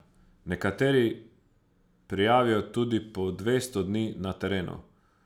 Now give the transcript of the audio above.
Nekateri prijavijo tudi po dvesto dni na terenu.